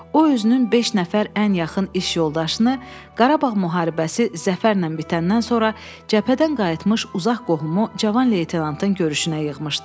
O özünün beş nəfər ən yaxın iş yoldaşını Qarabağ müharibəsi zəfərlə bitəndən sonra cəbhədən qayıtmış uzaq qohumu Cavan leytenantın görüşünə yığmışdı.